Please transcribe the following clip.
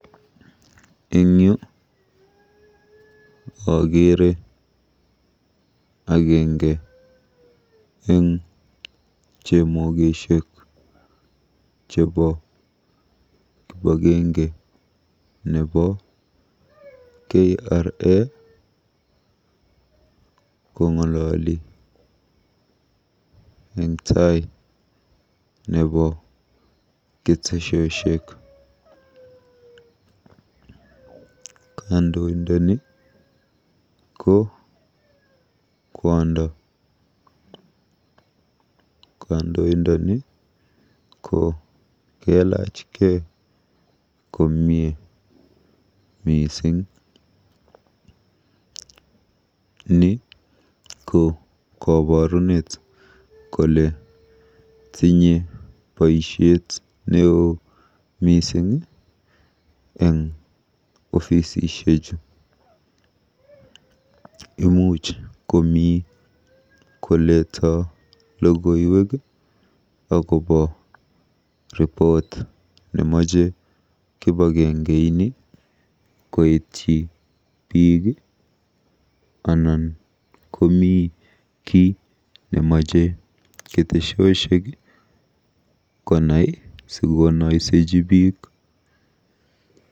Eng yu akeere agenge eng chemokeshek chebo kibagenge nebo KRA kong'ololi eng tai nebo ketesioshek. Kandoindoni ko kwondo. Kandoindoni ko kelachkei komie mising. NI ko koborunet kole tinyei boisiet neoo mising eng ofisishechu. Imuch komi koletoi logoiwek akobo report nemache kipagenge ini koityi biik anan komi kiy nemache ketesiosiek konai sikonaiseji biik.